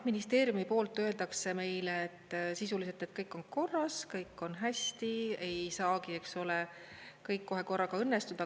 Ministeeriumi poolt öeldakse meile sisuliselt, et kõik on korras, kõik on hästi, ei saagi, eks ole, kõik kohe korraga õnnestuda.